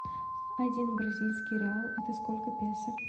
один бразильский реал это сколько песо